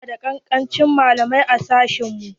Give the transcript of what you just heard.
Mu na da kankancin malamai a sashen mu.